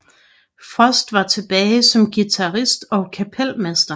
Frost var tilbage som guitarist og kapelmester